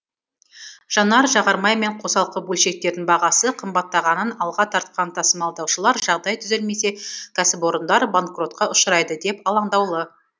жанар жағармай мен қосалқы бөлшектердің бағасы қымбаттағанын алға тартқан тасымалдаушылар жағдай түзелмесе кәсіпорындар банкротка ұшырайды деп алаңдаулы